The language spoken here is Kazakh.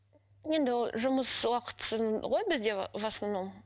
енді ол жұмыс уақытысын ғой бізде в основном